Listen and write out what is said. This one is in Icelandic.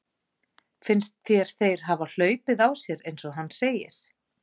Finnst þér þeir hafa hlaupið á sér eins og hann segir?